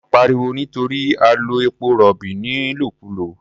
Wọ́n ń pariwo nítorí a lo epo-rọ̀bì nílòkulò.